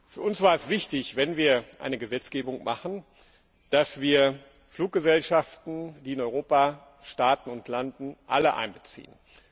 Für uns war es wichtig, wenn wir eine Gesetzgebung machen, dass wir alle Fluggesellschaften, die in Europa starten und landen, einbeziehen.